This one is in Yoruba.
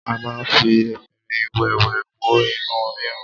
A ma ń fi efinrin wẹ́wẹ́ wo inú rírun.